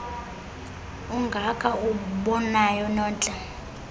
ungaka uwubonayo nontle